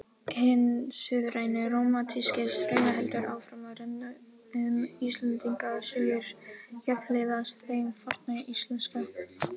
Hinn suðræni rómantíski straumur heldur áfram að renna um Íslendingasögur jafnhliða þeim forna íslenska.